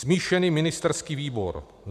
Smíšený ministerský výbor.